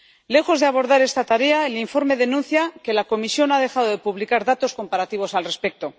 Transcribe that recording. Lejos de abordar esta tarea, el informe denuncia que la Comisión ha dejado de publicar datos comparativos al respecto.